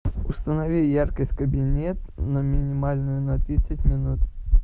установи яркость кабинет на минимальную на тридцать минут